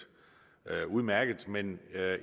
udmærket men